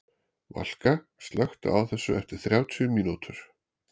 Valka, slökktu á þessu eftir þrjátíu mínútur.